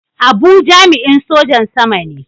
Abu jami'in Sojan Sama ne.